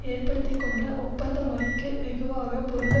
ஏற்படுத்தி கொண்ட ஒப்பந்த முறைக்கு வெகுவாக பொருந்த